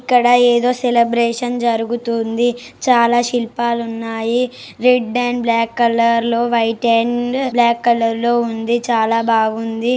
ఇక్కడ ఏదో సెలబ్రేషన్ జరుగుతుంది చాలా శిల్పాలు ఉన్నాయి రెడ్ అండ్ బ్లాక్ కలర్ లో వైట్ అండ్ బ్లాక్ కలర్ లో ఉంది చాలా బాగుంది.